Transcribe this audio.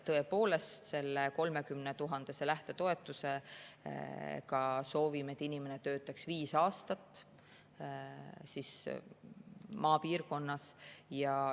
Tõepoolest, selle 30 000 euro suuruse lähtetoetuse eest soovime, et inimene töötaks viis aastat maapiirkonnas.